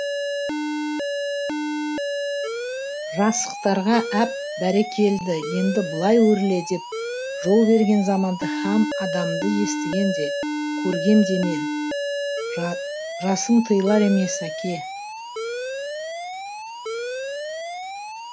жасықтарға әп бәрекелді енді былай өрле деп жол берген заманды һәм адамды естіген де көргем де емен жасым тыйылар емес әке